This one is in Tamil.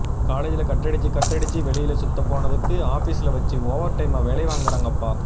காலேஜ்ல கட் அடிச்சு கட் அடிச்சு வெளியல சுத்தப்போனதுக்கு ஆப்பிஸ்ல வச்சி ஓவர் டைமா வேலை வாங்கிறாங்கப்பா